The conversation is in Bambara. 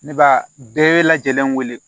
Ne b'a bɛɛ lajɛlen wele